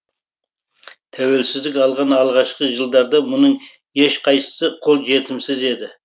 тәуелсіздік алған алғашқы жылдарда мұның ешқайсысы қол жетімсіз еді